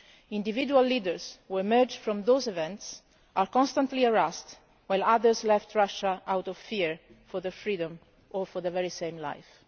Individual leaders who emerged from those events are constantly harassed, while others left Russia out of fear for their freedom or for their lives.